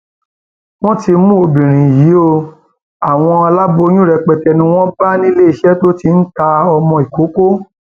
wọn ti mú obìnrin yìí ọ àwọn aláboyún rẹpẹtẹ ni wọn bá níléeṣẹ tó ti ń ta ọmọ ìkókó